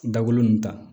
Dagolo nunnu ta